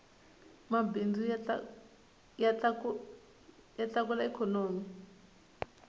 mabindzu ya tlakula ikhonomi